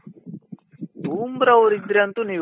ಬೂಮ್ರ ಅವ್ರು ಇದ್ರೆ ಅಂತೂ ನೀವು